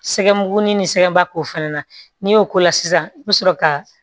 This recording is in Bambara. Sɛgɛn buguni ni sɛgɛnba ko fɛnɛ na n'i y'o k'o la sisan i bi sɔrɔ ka